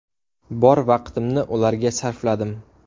Bor vaqtimni ularga sarfladim.